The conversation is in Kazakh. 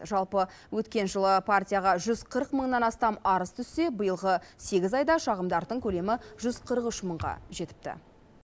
жалпы өткен жылы партияға жүз қырық мыңнан астам арыз түссе биылғы сегіз айда шағымдардың көлемі жүз қырық үш мыңға жетіпті